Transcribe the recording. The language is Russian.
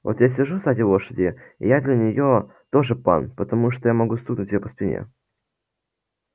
вот я сижу сзади лошади и я для неё тоже пан потому что я могу стукнуть её по спине